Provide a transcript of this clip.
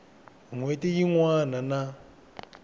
n hweti yin wana na